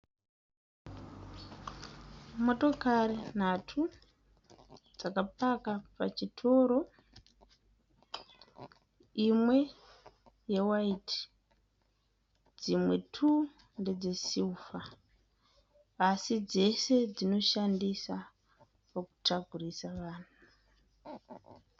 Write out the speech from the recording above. Motokari nhatu dzakapaka pachitoro. Imwe yewhite dzimwe two ndedzesilver asi dzese dzinoshandisa pakutakurisa vanhu.